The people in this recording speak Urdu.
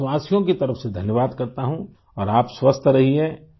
ہم وطنوں کی طرف شکریہ ادا کرتا ہوںاور آپ صحت مند رہیں